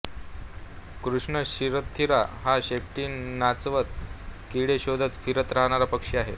कृष्ण थिरथिरा हा शेपटी नाचवत किडे शोधत फिरत राहणारा पक्षी आहे